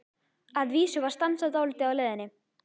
Að vísu var stansað dálítið á leiðinni.